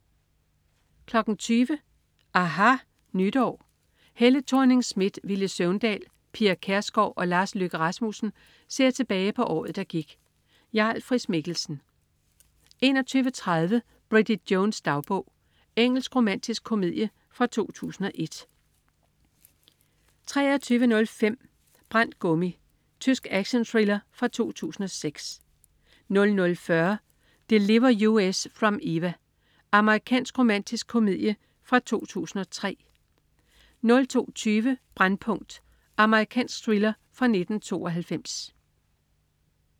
20.00 aHA Nytår. Helle Thorning-Schmidt, Villy Søvndal, Pia Kjærsgaard og Lars Løkke Rasmussen ser tilbage på året, der gik. Jarl Friis-Mikkelsen 21.30 Bridget Jones' dagbog. Engelsk romantisk komedie fra 2001 23.05 Brændt gummi. Tysk actionthriller fra 2006 00.40 Deliver Us From Eva. Amerikansk romantisk komedie fra 2003 02.20 Brændpunkt. Amerikansk thriller fra 1992